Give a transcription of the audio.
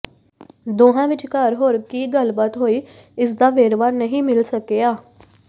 ਦੋਹਾਂ ਵਿਚਕਾਰ ਹੋਰ ਕੀ ਗੱਲਬਾਤ ਹੋਈ ਇਸ ਦਾ ਵੇਰਵਾ ਨਹੀਂ ਮਿਲ ਸਕਿਆ